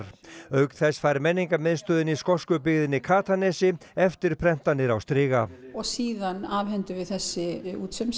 auk þess fær menningarmiðstöðin í skosku byggðinni Katanesi eftirprentanir á striga og síðan afhendum við þessi